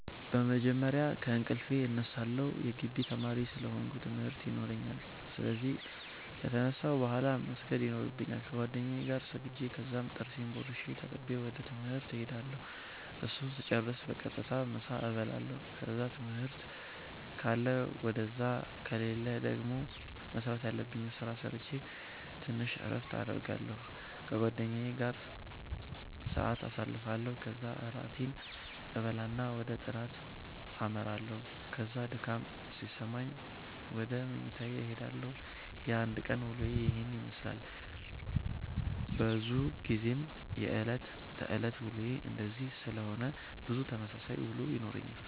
በመጀመርያ ከእንቅልፌ እነሳለሁ የጊቢ ተማሪ ስለ ሆነኩ ትምርት የኖራኛል ስለዚህ ከተነሳሁ ቡሃላ መስገድ የኖርብኛል ከጌደኛዬ ጋር ሰግጄ ከዛም ጥርሴን ቦርሼ ተጣጥቤ ወደ ትምህርት እሄዳለሁ እሱን ስጨርስ በቀጥታ ምሳ እበላለሁ ከዛ ትምህርት ካለ ውደዛ ከሌለ ደገሞ መስራተ ያለብኝን ስራ ሰረቼ ተንሽ እረፍት አረጋለሁ ከጓደኛዬ ጋር ሰአት ኣሳልፋለሁ ከዛ እራቴን እበላና ወደ ጥናተ አመራለሁ ከዛ ድካም ሲሰማኝ ውደ መኝታዬ እሄዳለሁ። የአንድ ቀን ዉሎዬ የሄን የመስላል። በዙ ጊዜ የእለት ተእለት ዉሎዬ እንደዚህ ሲሆን ብዙ ተመሳሳይ ዉሎ ይኖረኛል።